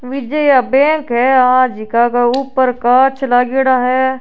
विजया bank है आ जका के ऊपर कांच लागयोड़ा है।